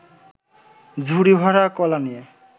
ঝুড়ি-ভরা কলা নিয়ে